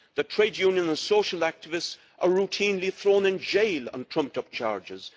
Trade union and social activists are routinely thrown in jail on trumped up charges.